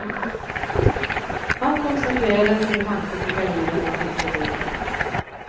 Han koncentrerade sin tanke på gardinerna tills de föll ned.